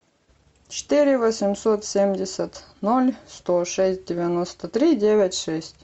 четыре восемьсот семьдесят ноль сто шесть девяносто три девять шесть